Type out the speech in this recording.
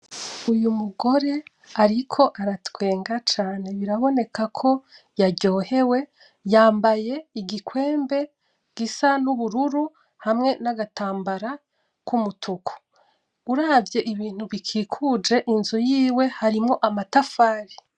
Uyumugore ariko aratwenga cane birabonekako yaryohewe yambaye igikwembe gisa n’ubururu hamwe nagatambara kumutuku. Uravye ibintu bikikuje inzu yiwe harimwo amatafari.